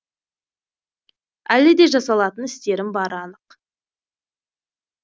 әлі де жасалатын істерім бары анық